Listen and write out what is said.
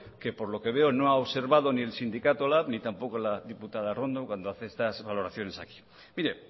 que por lo que veo no ha observado ni el sindicato lab ni tampoco la diputada arrondo cuando hace estas valoraciones aquí mire